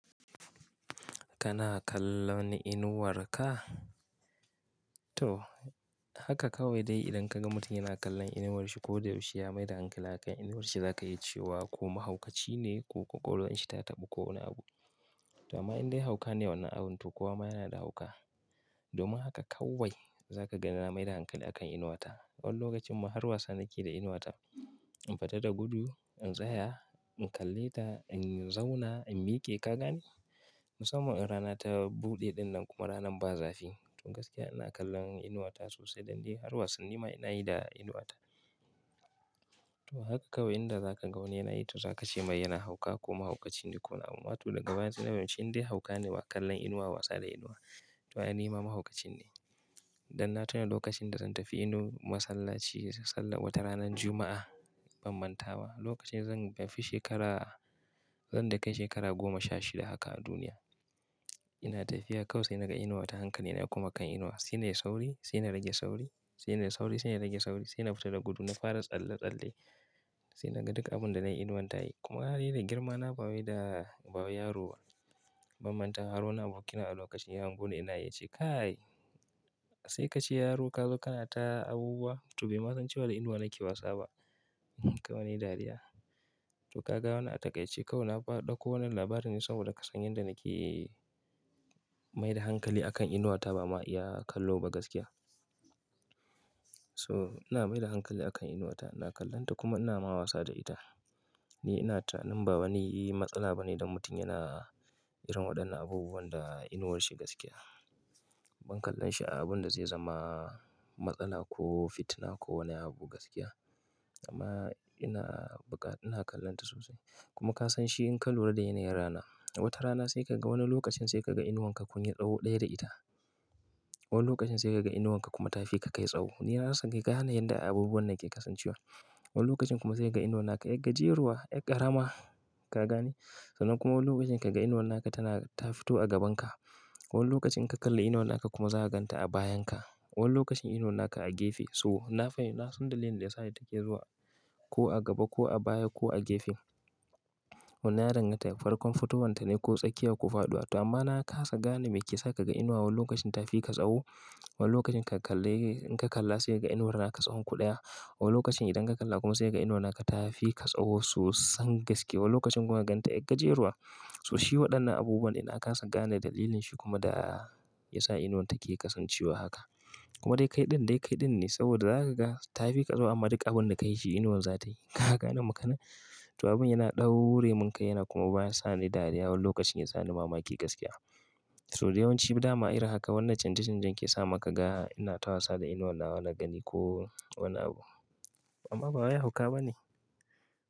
Kana kallon inuwar ka? To haka kawai dai idan ka ga mutum yana kallon inuwarshi ko da yaushe ya maida hankali akan inuwarshi, za ka yi cewa ko mahaukaci ne ko ƙwaƙwalwarshi ta taɓu ko wani abu. To amma in dai hauka ne wannan abun to kuwa ma yana da hauka. Domin haka kawai za ka ga na maida hankali a kan inuwata. Wani lokacin ma har wasa nake da inuwata. In fita da gudu, in tsaya, in kalle ta, in zauna, in miƙe, ka gane? Musamman in rana ta buɗe ɗinnan kuma ranar ba zafi. To gaskiya ina kallon inuwata sosai dan dai har wasanni ma ina yi da inuwata. To haka kawai idan za ka ga wani yana yi to za ka ce mai yana hauka ko mahaukaci ne ko wani abu. Amma to daga baya sai na fahimci in dai hauka ne ma kallon inuwa wasa da inuwa. To ai nima mahaukacin ne. Dan na tuna lokacin da zan tafi Enugu masallaci sallah wata ranar Juma'a ban mantawa, lokacin ban fi shekara, zan dai kai shekara goma sha shida haka a duniya. Ina tafiya kawai naga inuwata hankalina ya koma kan inuwa. Sai nayi sauri, sai na rage sauri, sai ina sauri, sai na rage sauri, sai ina fita da gudu, na fara tsalle-tsalle. Sai naga duk abun da na yi inuwan ta yi. Kuma alhali da girma na bawo da, bawo yaro bam manta har wani abokina a lokacin ya hango ni ina yi ya ce, "Kai sai ka ce yaro ka zo kana ta abubuwa?" To bai ma san cewa da inuwa nake wasa ba. Kawai na yi dariya. To ka ga wannan a taƙaice kawai na ɗauko wani labari ne saboda ka san yanda nake maida hankali akan inuwata ba ma iya kallo ba gaskiya. So ina maida hankali akan inuwata, ina kallonta kuma ina ma wasa da ita. Ni ina tunanin ba wani matsala ba ne don mutum yana irin waɗannan abubuwan da inuwarshi gaskiya. Ban kallon shi abun da zai zama matsala ko fitina ko wani abu gaskiya. Amma ina bukat, ina kallonta sosai. Kuma ka san shi in ka lura da yanayin rana, wata rana sai ka ga wani lokacin sai ka ga inuwanka kun yi tsawo ɗaya da ita. Wani lokacin sai ka ga inuwanka kuma tafi ka kai tsawo. Ni na rasa dai gane yanda abubuwan nan ke kasancewa. Wani lokacin kuma sai ka ga inuwanka 'yar gajeruwa, 'yar ƙarama, ka gane? Sannan kuma wani lokacin ka ga inuwanka tana, ta fito a gabanka. Wani lokacin in ka kalla inuwanka kuma za ka ganta a bayanka. Wani lokacin inuwanka a gefe. So na fahimci, na san dalilin da ya sa ita ke zuwa ko a gaba ko a baya ko a gefe. Wannan ya danganta da farkon fitowarta ne ko tsakiya ko faɗuwa. To amma na kasa gane me ke sa ka ga inuwa wani lokacin tafi ka tsawo, wani lokacin ka kalla, in ka kalla sai ka ga inuwar naka tsawonku ɗaya. Wani lokacin idan ka kalla kuma sai ka ga inuwar naka tafi ka tsawo sosan gaskiya. Wani lokacin kuma ka ganta 'yar gajeruwa. So shi waɗannan abubuwan dai na kasa gane dalilin shi kuma da ya sa inuwar take kasancewa haka. Kuma dai kai ɗin dai kai ɗin ne saboda za ka ga tafi ka tsawo amma duk abun da ka yi shi inuwan za ta yi. Ka gane maganar? To abun yana ɗaure mun kai yana kuma bayan sani dariya wani lokacin ya sa ni mamaki gaskiya. So da yawanci dama irin haka. Wannan canje-canjen ke sa maka ga ina ta wasa da inuwar nawa na gani ko wani abu. Amma bawai hauka ba ne.